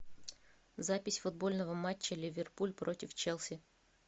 запись футбольного матча ливерпуль против челси